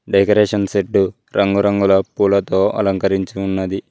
Decoration set రంగురంగుల పూలతో అలంకరించి ఉన్నది.